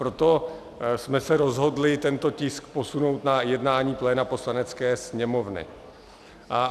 Proto jsme se rozhodli tento tisk posunout na jednání pléna Poslanecké sněmovny.